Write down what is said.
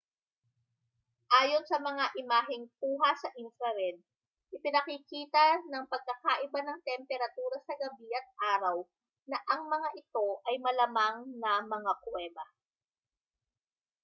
ayon sa mga imaheng kuha sa infrared ipinakikita ng pagkakaiba ng temperatura sa gabi at araw na ang mga ito ay malamang na mga kuweba